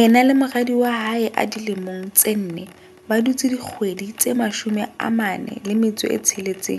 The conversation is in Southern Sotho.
Ena le moradi wa hae a dilemo tse nne ba dutse dikgwedi tse 46